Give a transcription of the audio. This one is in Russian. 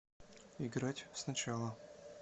играть сначала